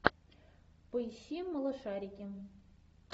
поищи малышарики